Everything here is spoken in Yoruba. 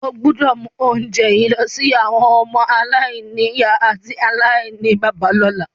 O gbọ́dọ̀ mu ounje yi lọ si àwọn ọmọ-aláìnìyá àti aláìníbàbá lọ́la.